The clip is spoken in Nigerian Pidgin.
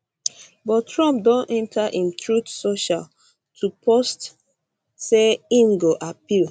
but trump don enta im truth social to post say im go appeal